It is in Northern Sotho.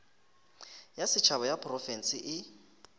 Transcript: ya setšhaba ya diprofense e